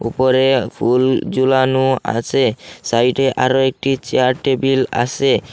উপরে ফুল জুলানো আছে সাইডে আরো একটি চেয়ার টেবিল আছে।